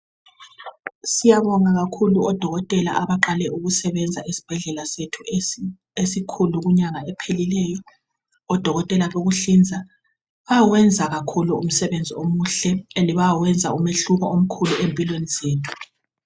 Siyabonga kakhulu odokotela abaqale ukusebenza esibhedlela sethu esikhulu kunyanga ephelileyo, odokotela bekuhlinza .Bayawenza kakhulu umsebenzi omuhle ende bayawenza umehluko omkhulu empilweni zethu.